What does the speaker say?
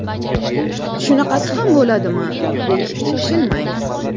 Shunaqasi ham bo‘ladimi, deyishga shoshilmang.